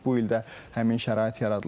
Bu il də həmin şərait yaradılıb.